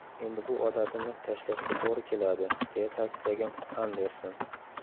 Endi bu odatimni tashlashga to‘g‘ri keladi”, deya ta’kidlagan Anderson.